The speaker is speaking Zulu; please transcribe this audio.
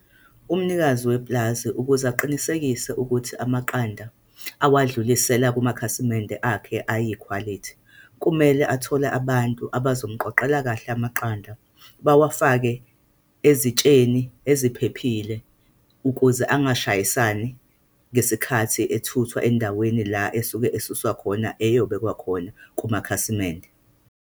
Umnikazi wepulazi, ukuze aqinisekise ukuthi amaqanda awadlulisela kumakhasimende akhe ayikhwalithi, kumele athole abantu abazomqoqela kahle amaqanda, bawafake ezitsheni eziphephile, ukuze angashayisana ngesikhathi ethuthwa endaweni la esuke esuswa khona ayobekwa khona kumakhasimende.